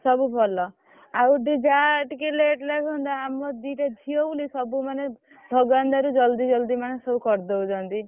ସବୁ ଭଲ ଆଉ ଦି ଯାଆ ଟିକେ late ଲାଟ୍‌ ହୁଅନ୍ତା ଆମର ଦିଟା ଝିଅ ବୋଲି ସବୁମାନେ ଭଗବାନଙ୍କ ଦୟାରୁ ଜଲ୍‌ଦି ଜଲ୍‌ଦି ମାନେ ସବୁ କରିଦଉଛନ୍ତି।